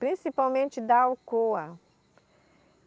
Principalmente da Alcoa.